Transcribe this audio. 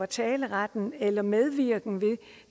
taleretten eller medvirken ved